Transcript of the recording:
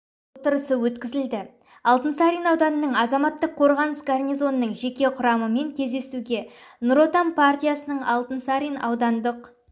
отырысы өткізілді алтынсарин ауданының азаматтық қорғаныс гарнизонының жеке құрамымен кездесуге нұр отан партиясының алтынсарин аудандық